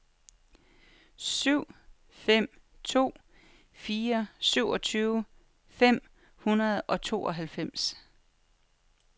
syv fem to fire syvogtyve fem hundrede og tooghalvfems